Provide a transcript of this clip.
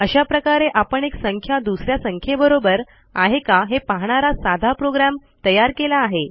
अशा प्रकारे आपण एक संख्या दुस या संख्येबरोबर आहे का हे पाहणारा साधा प्रोग्रॅम तयार केला आहे